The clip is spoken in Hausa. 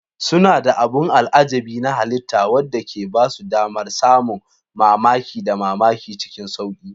Suna da abin al'ajabi na halitta wanda ke ba su damar samun mamaki da mamaki cikin sauƙi.